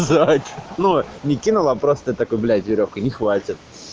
зать ну не кинула а просто такой блять верёвка не хватит